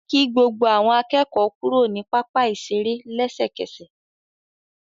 Kí gbogbo àwọn akẹ́kọ̀ọ́ kúrò ní pápá ìṣeré lẹ́sẹ̀kẹsẹ̀.